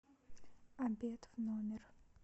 обед в номер